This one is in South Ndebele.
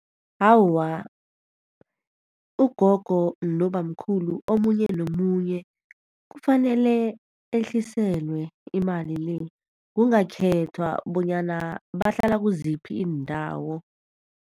Awa, ugogo nobamkhulu omunye nomunye kufanele ehliselwe imali le, kungakhethwa bonyana bahlala kiziphi iindawo.